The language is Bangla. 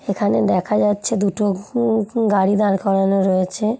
এখানে দেখা যাচ্ছে দুটো উ উ গাড়ি দাঁড় করানো রয়েছে।